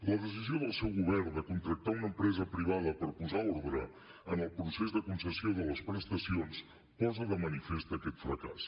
la decisió del seu govern de contractar una empresa privada per posar ordre en el procés de concessió de les prestacions posa de manifest aquest fracàs